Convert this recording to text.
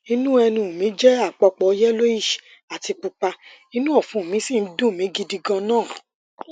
inú ẹnu mi jẹ àpòpọ yellowish àti pupa inú ọfun mi sì ń dunni gidi ganan